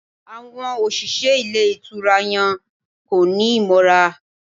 Àwon òṣìṣẹ́ Ilé Ìtura yan kóni móra